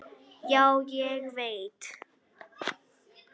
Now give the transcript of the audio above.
Já, ég veit